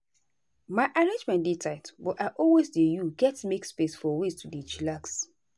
my arrangement dey tight but i always dey you get make space for ways to dey chillax.